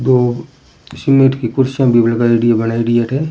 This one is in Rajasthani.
दो सीमेंट की कुर्सियां भी लगायेदि है बनायेदि है अठे।